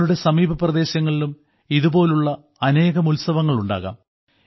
നിങ്ങളുടെ സമീപപ്രദേശങ്ങളിലും ഇതുപോലുള്ള അനേകം ഉത്സവങ്ങൾ ഉണ്ടാകാം